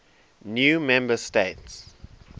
new member states